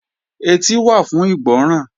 Etí wà fún ìgbọ́ràn